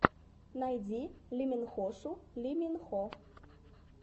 найди лиминхошу ли мин хо